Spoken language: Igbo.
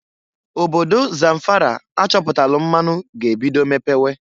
Obodo Zamfara achọpụtalụ mmanụ ga-ebido mepewe.